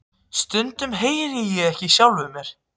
Stundum heyri ég ekki í sjálfum mér.